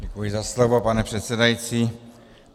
Děkuji za slovo, pane předsedající.